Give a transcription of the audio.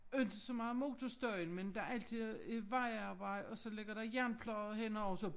Inte så meget motorstøjen men der altid et vejarbejde og så ligger der jernplader henover og så